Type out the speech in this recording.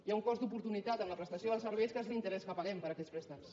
hi ha un cost d’oportunitat en la prestació dels serveis que és l’interès que paguem per aquests préstecs